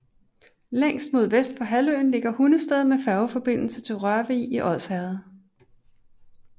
Længst mod vest på halvøen ligger Hundested med færgeforbindelse til Rørvig i Odsherred